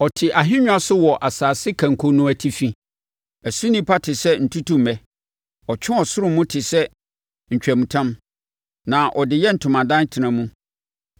Ɔte ahennwa so wɔ asase kanko no atifi. Ɛso nnipa te sɛ ntutummɛ ɔtwe ɔsoro mu te sɛ ntwamutam, na ɔde yɛ ntomadan tena mu.